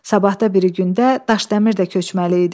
Sabahda biri gündə Daşdəmir də köçməli idi.